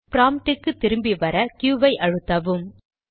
prompt க்கு திரும்பி வர க்யூq ஐ அழுத்தவும்